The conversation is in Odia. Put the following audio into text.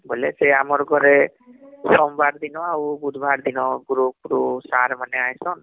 ବୋଇଲେ ସେ ଆମର ଘରେ ଷୋମବାର ଦିନ ଆଉ ବୁଧୁବାର ଦିନ group ରୁ sir ମାନେ ଆଇସନ